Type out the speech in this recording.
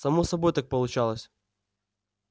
само собой так получалось